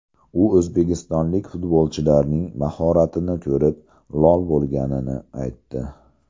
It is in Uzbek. U o‘zbekistonlik futbolchilarning mahoratini ko‘rib, lol bo‘lganini aytdi.